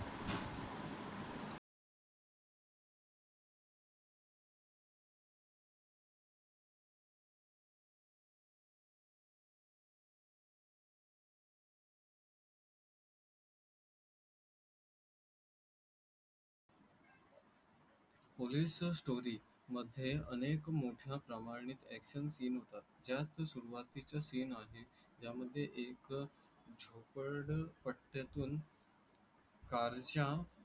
Police story मध् ये अनेक मोठ्या प्रमाणेच action seen होतात. जास्त सुरुवाती चा seen आहे ज्या मध्ये एक झोपड पट्टा तून. कारच्या